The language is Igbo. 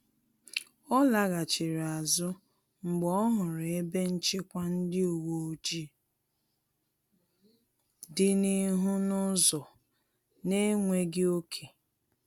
Ọ laghachiri azụ mgbe ọ hụrụ ebe nchịkwa ndị uweojii dị n’ihu n’ụzọ na-enweghị ọke